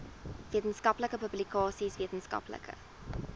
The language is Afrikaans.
wetenskaplike publikasies wetenskaplike